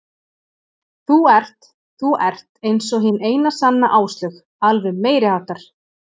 Þú ert þú ert eins og hin eina sanna Áslaug, alveg meiriháttar.